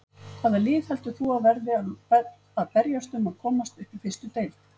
Hvaða lið heldur þú að verði að berjast um að komast upp í fyrstu deild?